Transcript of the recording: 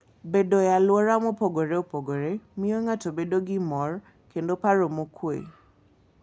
Bedo e alwora mopogore opogore miyo ng'ato bedo gi mor kendo paro mokuwe.